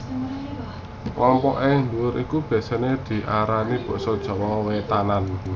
Kelompok ing ndhuwur iku biasané diarani basa Jawa wétanan